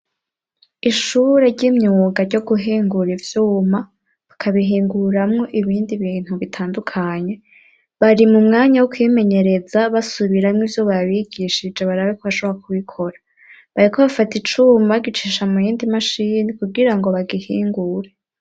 Ishure ry'imyuga ryo guhingura ivyuma bakabihinguramwo ibindi bintu bitandukanye, bari mu mwanya wo kwimenyereza basubiramwo ivyo babigishije baraba ko bashobora kubikora, bariko bafata icuma bagicisha muyindi mashini kugirango bagihingure.